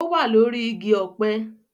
Ó wà lórí igi ọ̀pẹ